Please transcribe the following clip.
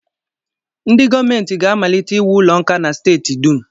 Ndị gọọmenti ga-amalite iwu ụlọ nkà na steeti dum